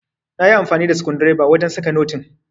nayi amfani da skundireba wajen saka notin